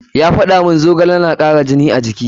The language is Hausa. Ya faɗa mun zogale na kara jini a jiki.